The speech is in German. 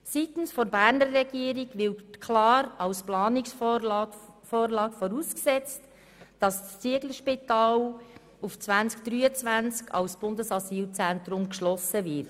Seitens der Berner Regierung wird klar als Planungsvorgabe vorausgesetzt, dass das Zieglerspital auf 2023 hin als Bundesasylzentrum geschlossen wird.